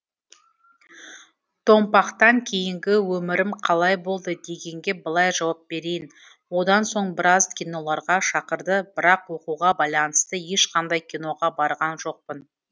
томпақтан кейінгі өмірім қалай болды дегенге былай жауап берейін одан соң біраз киноларға шақырды бірақ оқуға байланысты ешқандай киноға барған жоқпын